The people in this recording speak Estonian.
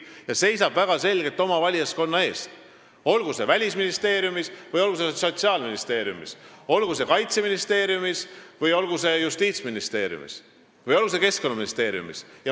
Nad seisavad väga selgelt oma valijaskonna eest, olgu see Välisministeeriumis või olgu see Sotsiaalministeeriumis, olgu see Kaitseministeeriumis, olgu see Justiitsministeeriumis või olgu see Keskkonnaministeeriumis.